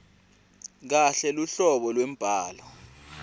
kahle luhlobo lwembhalo